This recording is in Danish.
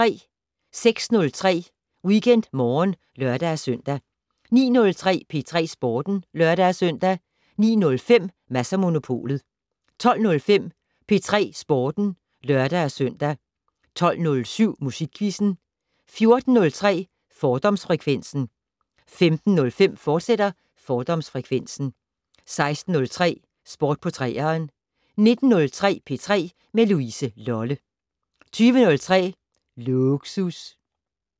06:03: WeekendMorgen (lør-søn) 09:03: P3 Sporten (lør-søn) 09:05: Mads & Monopolet 12:05: P3 Sporten (lør-søn) 12:07: Musikquizzen 14:03: Fordomsfrekvensen 15:05: Fordomsfrekvensen, fortsat 16:03: Sport på 3'eren 19:03: P3 med Louise Lolle 20:03: Lågsus